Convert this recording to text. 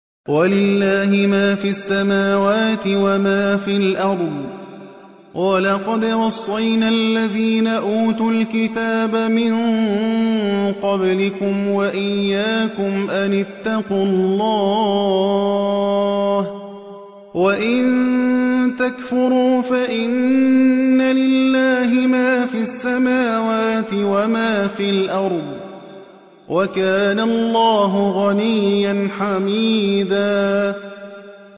وَلِلَّهِ مَا فِي السَّمَاوَاتِ وَمَا فِي الْأَرْضِ ۗ وَلَقَدْ وَصَّيْنَا الَّذِينَ أُوتُوا الْكِتَابَ مِن قَبْلِكُمْ وَإِيَّاكُمْ أَنِ اتَّقُوا اللَّهَ ۚ وَإِن تَكْفُرُوا فَإِنَّ لِلَّهِ مَا فِي السَّمَاوَاتِ وَمَا فِي الْأَرْضِ ۚ وَكَانَ اللَّهُ غَنِيًّا حَمِيدًا